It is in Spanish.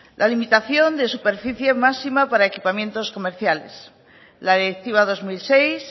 la limitación de superficie máxima para equipamientos comerciales la directiva dos mil seis